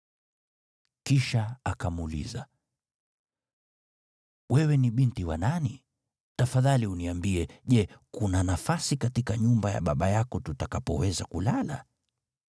Kisha akamuuliza, “Wewe ni binti wa nani? Tafadhali uniambie, je, kuna nafasi katika nyumba ya baba yako tutakapoweza kulala?”